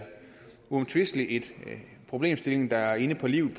uomtvistelig en problemstilling der er inde på livet